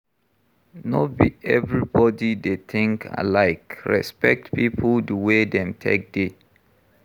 No be everybody dey think alike, respect pipo di way dem take dey